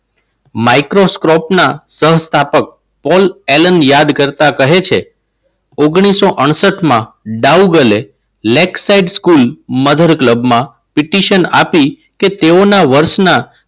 microscope ના સંસ્થાપક Paul Allen યાદ કરતા કહે છે. ઓગણીસો અડસઠમાં બૌગલ lake site school mother club માં પિટિશન આપી કે તેઓના વર્ષના